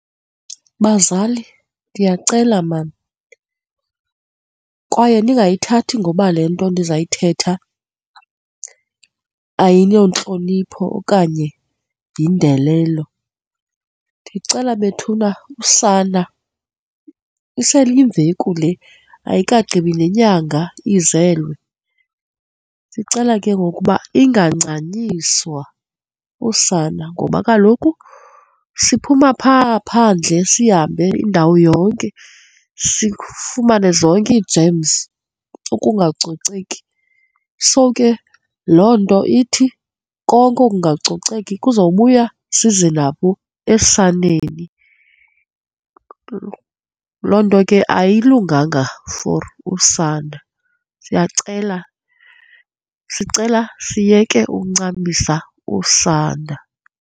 Bazali, ndiyacela mani kwaye ningayithathi ngoba le nto ndizayithetha ayontlonipho okanye yindelelo. Ndiyacela bethuna usana, iseyimveku le ayikagqibi nenyanga izelwe, sicela ke ngoku uba ingancanyiswa, usana ngoba kaloku siphuma phaa phandle sihambe indawo yonke sifumane zonke iijemzi, ukungacoceki. So ke, loo nto ithi konke okungacoceki sizobuya size nabo esaneni. Loo nto ke ayilunganga for usana. Siyacela, sicela siyeke ukuncamisa usana.